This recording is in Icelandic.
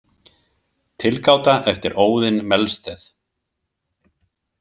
Tilgáta eftir Óðin Melsted.